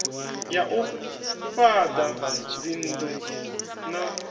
ya u fhaḓa dzinnḓu na